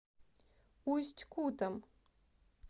усть кутом